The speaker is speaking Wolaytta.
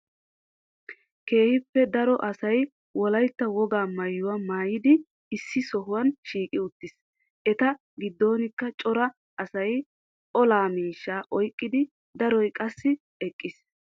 Keehippe daro asay wolaytta woga maayuwa maayidi issi sohuwaa shiiqi uttis. Eeta giddonkka cora asay olaa miishshaa oyqqidi daroy qassi eeqqiis.